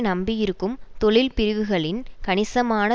நம்பியிருக்கும் தொழில்பிரிவுகளின் கணிசமான